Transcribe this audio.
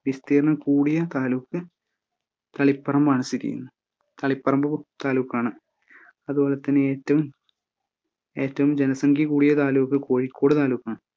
വിസ്തീർണ്ണം കൂടിയ താലൂക്ക് തളിപ്പറമ്പാണ് സ്ഥിതി ചെയ്യുന്നത് തളിപ്പറമ്പ് താലൂക്കാണ് അതുപോലെ തന്നെ ഏറ്റവും ഏറ്റവും ജനസംഖ്യ കൂടിയ താലൂക്ക് കോഴിക്കോട് താലൂക്കാണ്.